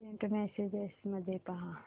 Saint messages मध्ये पहा